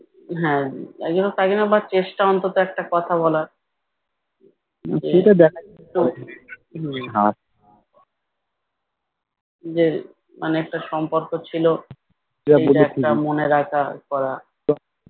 হম যে মানে একটা সম্পর্ক ছিল সে একটা মনে রাখা ইয়ে করা